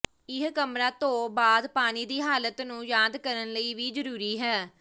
ਇਹ ਕਮਰਾ ਧੋ ਬਾਅਦ ਪਾਣੀ ਦੀ ਹਾਲਤ ਨੂੰ ਯਾਦ ਕਰਨ ਲਈ ਵੀ ਜ਼ਰੂਰੀ ਹੈ